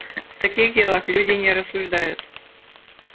в таких делах люди не рассуждают